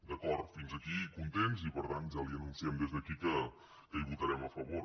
d’acord fins aquí contents i per tant ja li anunciem des d’aquí que hi votarem a favor